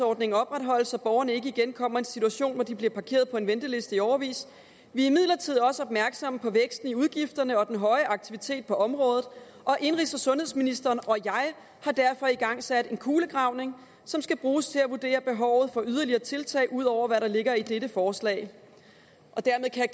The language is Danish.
ordningen opretholdes så borgerne ikke igen kommer i en situation hvor de bliver parkeret på en venteliste i årevis vi er imidlertid også opmærksomme på væksten i udgifterne og den høje aktivitet på området og indenrigs og sundhedsministeren og jeg har derfor igangsat en kulegravning som skal bruges til at vurdere behovet for yderligere tiltag ud over hvad der ligger i dette forslag dermed kan